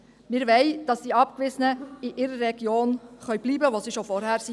Wir wollen, dass die Abgewiesenen in ihrer Region bleiben können, wo sie bereits vorher waren.